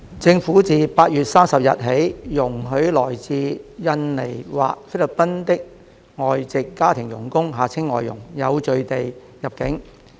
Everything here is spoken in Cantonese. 政府自8月30日起容許來自印尼或菲律賓的外籍家庭傭工有序地入境。